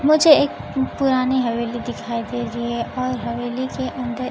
मुझे एक पुरानी हवेली दिखाई दे रही है और हवेली के अंदर--